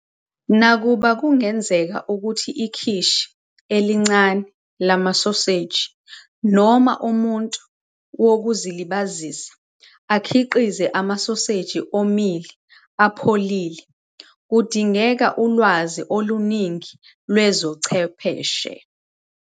Nakuba kungenzeka ukuthi ikhishi elincane lamasoseji noma umuntu wokuzilibazisa akhiqize amasoseji omile apholile, kudingeka ulwazi oluningi lwezobuchwepheshe.